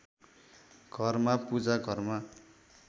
घरमा पूजा घरमा